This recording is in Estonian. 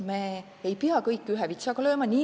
Me ei pea kõiki ühe vitsaga lööma.